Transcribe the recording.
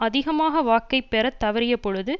அதிகமாக வாக்கை பெற தவறிய பொழுது